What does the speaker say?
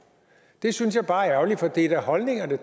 det synes jeg bare er ærgerligt for det er da holdninger det